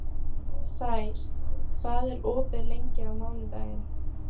Sær, hvað er opið lengi á mánudaginn?